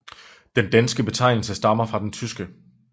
Den danske betegnelse stammer fra den tyske